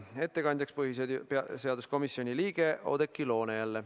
Ettekandja on jälle põhiseaduskomisjoni liige Oudekki Loone.